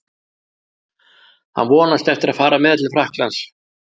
Hann vonast eftir að fara með til Frakklands.